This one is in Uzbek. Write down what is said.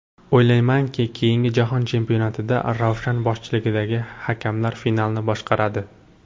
O‘ylaymanki, keyingi jahon chempionatida Ravshan boshchiligidagi hakamlar finalni boshqaradi.